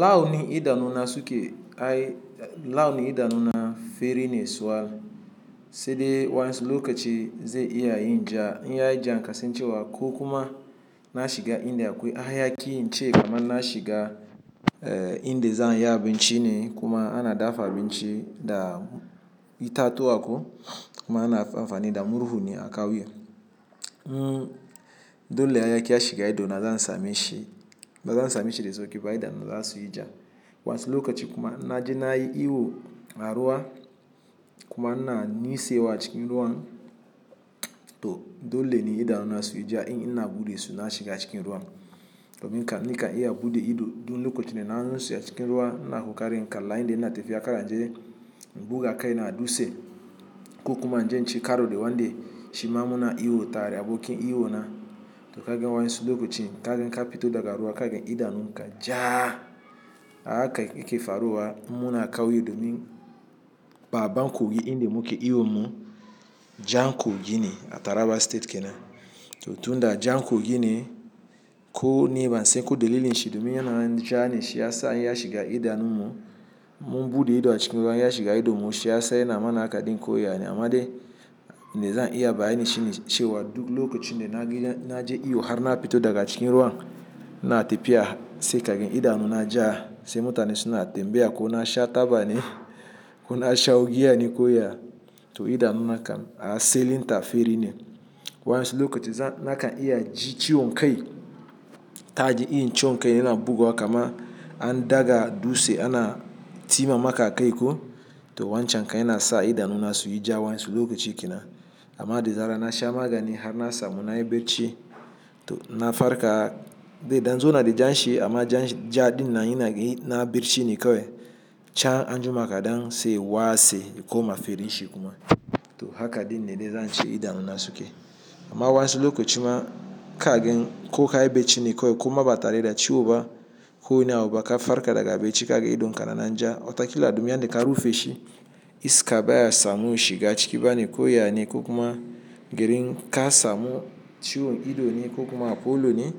Launi idanu na suke ai-- launi idanu na feri ne sol, sai dai wadansu lokaci ze iya yin ja. In ya yi jan kasancewa ko kuma na shiga. Inda, akwai haya ki ince kaman na shiga, eh, indaza ayi abin ci ne kuma ana dafa abin ci da itatuwa ko kuma ana anfani da murhu ne a kauyen uhm dole haya ki a shiga ido na zan same shi, ba zan same shi da sauki ba idanu za su yi ja. Wadansu lokaci kuma inna je na yi iwo a ruwa kuma ina nitsewa a cikin ruwan to dole ne idanu na su yi ja in ina bude su na shiga cikin ruwan. Do min kam nika iya bude ido duk lokacin da na nitse a cikin ruwa ina kokarin inkalla inda ina tafiya, kar in je buga kai na a dutse ko kuma in je inci karo da wanda shiman mu na iwo tare abokin iwo na. To kagan wayansu duk lokacin kagan ka fito daga ruwa kagan idanun ka jaa, a haka yake faruwa inmuna kauye domin babban kogi Indi muke iwo mun, Jan kogine a Taraba State kenan. To tun da Jan ko gine ko ne ban san ko dalilin shi domin yana jan shi ya sa in ya shiga idanu mu, mun bude ido a cikin ruwa in ya shiga ido mu shi ya sa yana mana haka din ko yane. Amma dai, inda zan iya bayani shine cewa duk lokacin da na gidan-- na je iwo har na fito daga cikin ruwan, ina tafiya sai kagan idanu na jaa sai mutane suna tambaya ko na sha taba ne ko na shawo giya ne ko ya. To idanu nakan a selinta fari ne. Wayasu lokaci zan-- nakan iya ji ciwon kai, kaji irin ciwon kai yana bugowa kaman an daga dutse ana tima maka akai ko. To wancan kai yana sa idanu na su yi ja wayansu lokaci kenan. Amma dazaran nasha magani harna samu nayi barci to inna farka zaidan zauna da janshi amma jaa dinnan inaga na barcine kawai can anjima kadan saiya koma fari shikuma to haka din ne zance idanu na suke. Amma wayansu lokacin ma kagan ko ka yi bacci ne kawai ko ma ba tare da ciwo ba ko ina wani abuba ka farka daga bacci kagan idon ka na nan ja, watakila dumin yanda ka rufe shi, iska baya samu shiga ciki ba ne ko yane ko kuma gurin ka samu ciwon ido ne ko kuma a folo ne.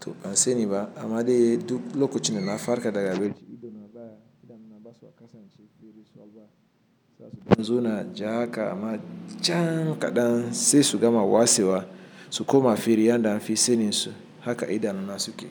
To bansaniba am dai duk lokacin dana farka daga bacci idona basa yin ja sai fari za su dan zo na ja haka amma jan kaɗan sai su gama watsewa su koma fari, yan da anfi sanin su haka idanu na suke.